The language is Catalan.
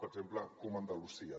per exemple com andalusia